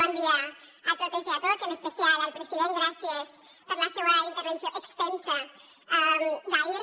bon dia a totes i a tots en especial al president gràcies per la seua intervenció extensa d’ahir